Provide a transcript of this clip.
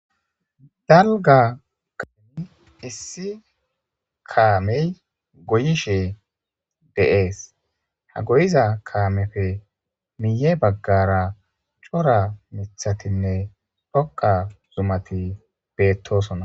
Dalga kaami issi kaamey goyishe deees ha goyiza kaamefe miye baggara cora mithatinne dhoqa zumati beettosona.